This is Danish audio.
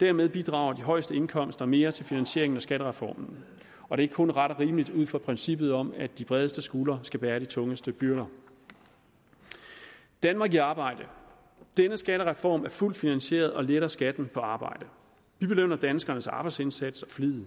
dermed bidrager de højeste indkomster mere til finansieringen af skattereformen og det er kun ret og rimeligt ud fra princippet om at de bredeste skuldre skal bære de tungeste byrder danmark i arbejde denne skattereform er fuldt finansieret og letter skatten på arbejde vi belønner danskernes arbejdsindsats og flid